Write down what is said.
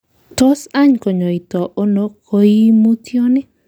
Tos any kinyoito ono koimutyoni?